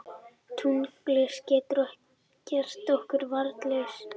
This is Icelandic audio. Tunglskinið getur gert okkur varnarlaus.